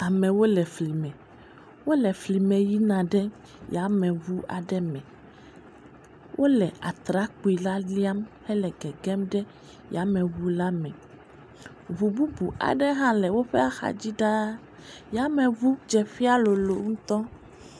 Toya yevu dze ƒe, fike ya yevuwo tɔ na ɖo alebe ame aɖewo yina ɖe aƒugodo wò yina. Amewo geɖe yameʋua me yina. Alebe yameʋua dzeƒea nye teƒe gã aɖe alebe yameʋu yake wɔ ɖo hã nye yameʋu gã aɖe alebe amewo zɔ yina ɖe yameʋua me.